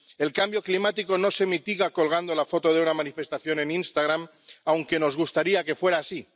El cambio climático no se mitiga colgando la foto de una manifestación en Instagram, aunque nos gustaría que fuera así.